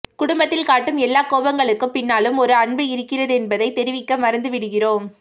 குடும்பத்தில் காட்டும் எல்லாக் கோபங்களுக்குப் பின்னாலும் ஒரு அன்பு இருக்கின்றதென்பதை தெரிவிக்க மறந்து விடுகிறோம்